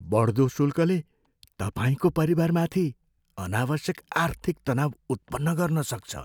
बढ्दो शुल्कले तपाईँको परिवारमाथि अनावश्यक आर्थिक तनाव उत्पन्न गर्न सक्छ।